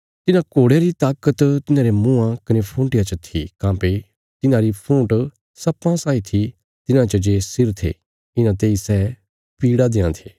तिन्हां घोड़यां री ताकत तिन्हांरे मुँआं कने फूंटिया च थी काँह्भई तिन्हांरी फूंट सर्पां साई थी तिन्हां च जे सिर थे इन्हां तेई सै पीड़ देआं थे